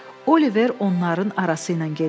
Oliver onların arası ilə gedirdi.